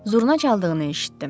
Zurna çaldığını eşitdim.